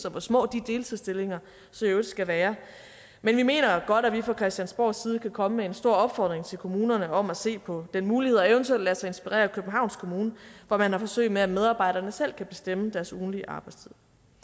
og hvor små de deltidsstillinger så i øvrigt skal være men vi mener godt at vi fra christiansborgs side kan komme med en stor opfordring til kommunerne om at se på den mulighed og eventuelt lade sig inspirere af københavns kommune hvor man har forsøg med at medarbejderne selv kan bestemme deres ugentlige arbejdstid